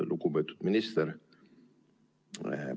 Lugupeetud minister!